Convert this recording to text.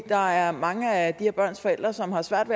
der er mange af de her børns forældre som har svært